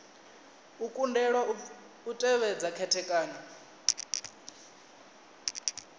u kundelwa u tevhedza khethekanyo